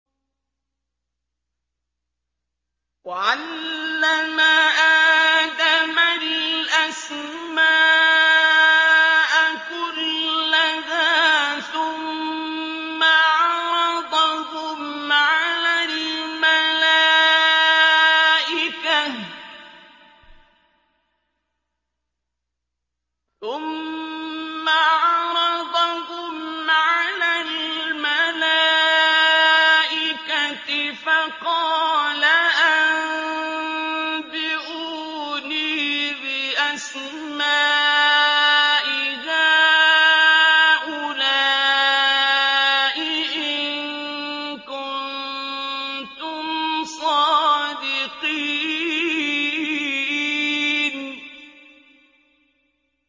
وَعَلَّمَ آدَمَ الْأَسْمَاءَ كُلَّهَا ثُمَّ عَرَضَهُمْ عَلَى الْمَلَائِكَةِ فَقَالَ أَنبِئُونِي بِأَسْمَاءِ هَٰؤُلَاءِ إِن كُنتُمْ صَادِقِينَ